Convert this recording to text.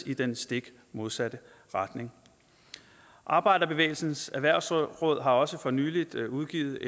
i den stik modsatte retning arbejderbevægelsens erhvervsråd har også for nylig udgivet